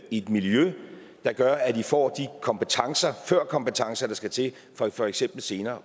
i et miljø der gør at de får de kompetencer førkompetencer der skal til for for eksempel senere